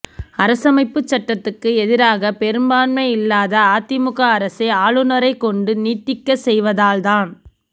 அரசமைப்புச் சட்டத்துக்கு எதிராக பெரும்பான்மை இல்லாத அதிமுக அரசை ஆளுநரைக் கொண்டு நீடிக்கச் செய்வதால்தான்